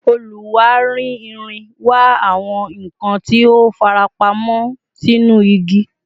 Oluwari irin wa awọn nkan ti o farapamọ sinu igi